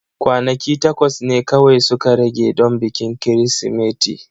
Kwanaki takwas ne kawai suka rage don bikin Kirsimeti.